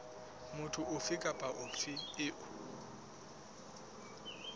motho ofe kapa ofe eo